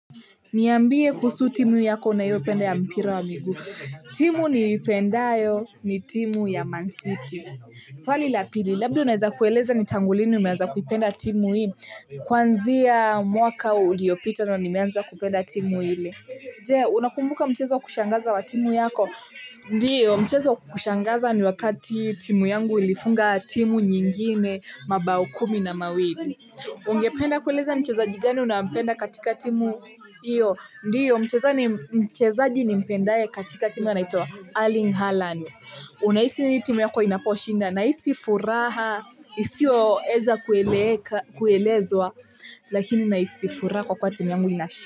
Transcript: Niambie kuhusu timu yako unayopenda ya mpira wa miguu. Timu niipendayo ni timu ya Man City. Swali la pili, labda unaweza kueleza ni tangu lini umeanza kupenda timu hii. Kwanzia mwaka uliopita ndiyo nimeanza kupenda timu ile. Je, unakumbuka mchezo wa kushangaza wa timu yako? Ndiyo, mchezo wa kushangaza ni wakati timu yangu ilifunga timu nyingine, mabao kumi na mawili. Ungependa kueleza mchezaji gani unampenda katika timu hiyo? Ndiyo, mchezaji nimpendaye katika timu anaitwa Erling Haaland. Unahisi vipi timu yako inaposhinda? Nahisi furaha, isiyoweza kuelezwa, lakini nahisi furaha kwa kuwa timu yangu inashinda.